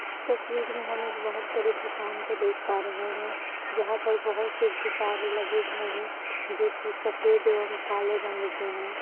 इस तस्वीर में हम एक बहुत बड़ी दूकान को देख पा रहे हैं जहाँ पर बहुत से गुब्बारे लगे हुए हैं जो की सफेद एवं काले रंग के हैं।